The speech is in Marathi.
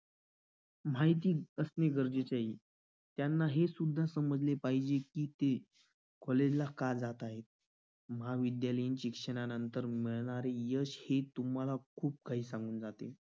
माहिती असणे गरजेचे आहे त्यांना हे सुद्धा समजले पाहिजे कि ते college ला जात आहेत महाविद्यालयीन शिक्षणानंतर मिळणारे यश हे तुम्हाला खूप काही सांगून जाते.